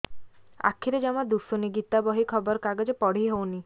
ଆଖିରେ ଜମା ଦୁଶୁନି ଗୀତା ବହି ଖବର କାଗଜ ପଢି ହଉନି